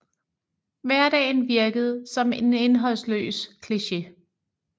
Hverdagen virkede som en indholdsløs kliché